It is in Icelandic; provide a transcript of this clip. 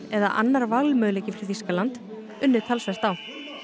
eða annar valmöguleiki fyrir Þýskaland unnið talsvert á